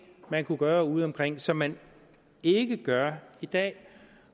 man kunne gøre udeomkring som man ikke gør i dag